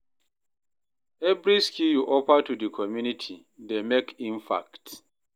Evri skill yu offer to di community dey mek impact.